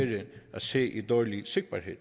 at se ved dårlig sigtbarhed